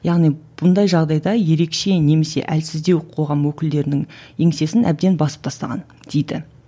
яғни бұндай жағдайда ерекше немесе әлсіздеу қоғам өкілдерінің еңсесін әбден басып тастаған дейді